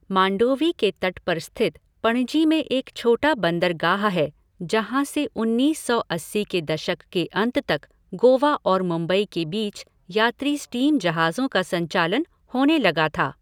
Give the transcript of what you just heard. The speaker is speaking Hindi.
मांडोवी के तट पर स्थित पणजी में एक छोटा बंदरगाह है, जहाँ से उन्नीस सौ अस्सी के दशक के अंत तक गोवा और मुंबई के बीच यात्री स्टीम जहाज़ों का संचालन होने लगा था।